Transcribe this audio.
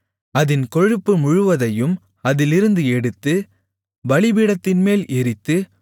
அதின் கொழுப்பு முழுவதையும் அதிலிருந்து எடுத்து பலிபீடத்தின்மேல் எரித்து